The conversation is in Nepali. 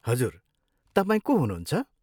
हजुर। तपाईँ को हुनुहुन्छ?